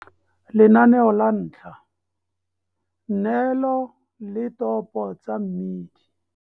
Lenaneo la 1 - Neelo le topo tsa mmidi.